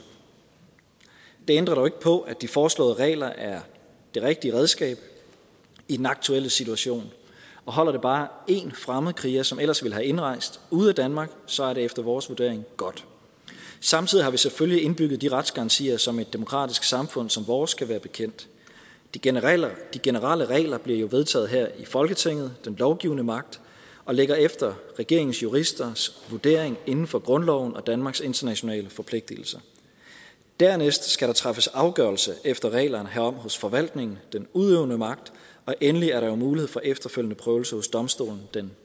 det ændrer dog ikke på at de foreslåede regler er det rigtige redskab i den aktuelle situation og holder det bare én fremmedkriger som ellers ville have indrejst ude af danmark så er det efter vores vurdering godt samtidig har vi selvfølgelig indbygget de retsgarantier som et demokratisk samfund som vores kan være bekendt de generelle de generelle regler bliver jo vedtaget her i folketinget den lovgivende magt og ligger efter regeringens juristers vurdering inden for grundloven og danmarks internationale forpligtigelser dernæst skal der træffes afgørelse efter reglerne herom hos forvaltningen den udøvende magt og endelig er der jo mulighed for efterfølgende prøvelse hos domstolene den